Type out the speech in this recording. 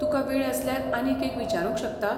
तुका वेळ आसल्यार आनीक एक विचारूंक शकतां?